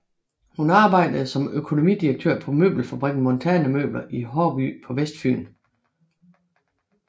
Hun arbejdede som økonomidirektør på møbelfabrikken Montana Møbler i Haarby på Vestfyn